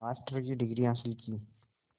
master की degree हासिल की